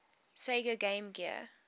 sega game gear